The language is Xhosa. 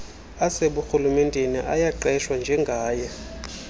aseburhulumenteni ayaqeshwa njengaye